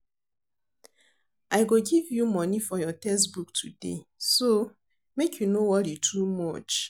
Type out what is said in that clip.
I go give you money for your textbook today so make you no worry too much